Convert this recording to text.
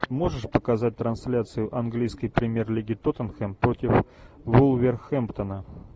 можешь показать трансляцию английской премьер лиги тоттенхэм против вулверхэмптона